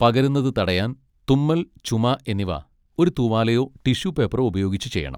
പകരുന്നത് തടയാൻ തുമ്മൽ, ചുമ എന്നിവ ഒരു തൂവാലയോ ടിഷ്യൂ പേപ്പറോ ഉപയോഗിച്ച് ചെയ്യണം.